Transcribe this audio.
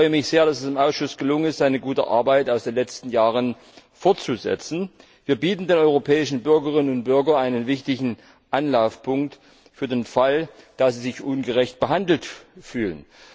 Ich freue mich sehr, dass es dem Ausschuss gelungen ist, seine gute Arbeit aus den letzten Jahren fortzusetzen. Wir bieten den europäischen Bürgerinnen und Bürgern einen wichtigen Anlaufpunkt für den Fall, dass sie sich ungerecht behandelt fühlen.